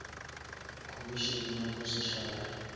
khomišene ya bo setšhaba ya